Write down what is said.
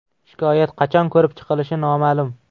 Shikoyat qachon ko‘rib chiqilishi noma’lum.